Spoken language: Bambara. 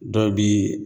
Dɔw bi